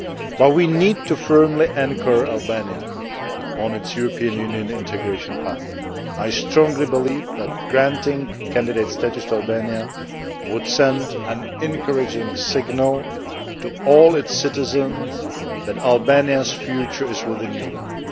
But we need to firmly anchor Albania on its European Union integration path. I strongly believe that granting candidate status to Albania would send an encouraging signal to all its citizens that Albania's future is within Europe.